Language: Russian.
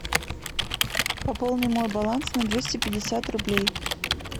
пополни мой баланс на двести пятьдесят рублей